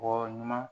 Bɔ ɲuman